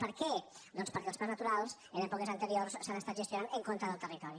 per què doncs perquè els parcs naturals en èpoques anteriors s’han estat gestionant en contra del territori